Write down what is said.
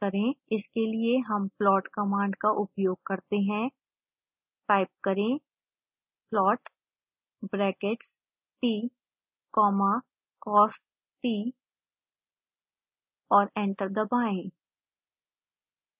इसके लिए हम plot कमांड का उपयोग करते हैं टाइप करें plot brackets t comma cost और एंटर दबाएं